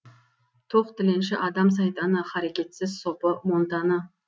тоқ тіленші адам сайтаны харекетсіз сопы монтаны